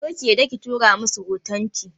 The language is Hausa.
Kar ki yarda ki tura masa hotunan!